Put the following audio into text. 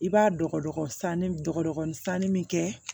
I b'a dɔgɔnin sanni dɔgɔkun sanni min kɛ